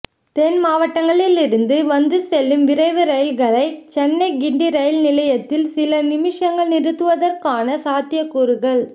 தென் மாவட்டங்களிலிருந்து வந்து செல்லும் விரைவு ரயில்களை சென்னை கிண்டி ரயில் நிலையத்தில் சில நிமிஷங்கள் நிறுத்துவதற்கான சாத்தியக்கூறுகள்